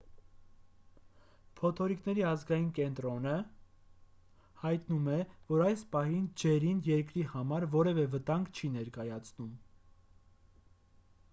փոթորիկների ազգային կենտրոնը nhc հայտնում է որ այս պահին ջերին երկրի համար որևէ վտանգ չի ներկայացում: